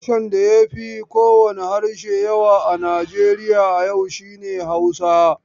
Harshen da ya fi kowane harshe yawa a Nijeriya a yau shi ne Hausa.